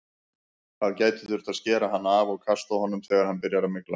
Það gæti þurft að skera hann af og kasta honum þegar hann byrjar að mygla.